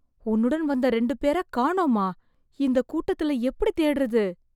உன்னுடன் வந்த ரெண்டு பேரை காணோமா... இந்த கூட்டத்துல எப்டி தேடறது...